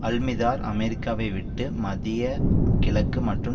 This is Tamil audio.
அல்மிதார் அமெரிக்காவை விட்டு மத்திய கிழக்கு மற்றும்